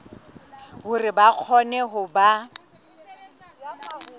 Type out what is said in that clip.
hore ba kgone ho ba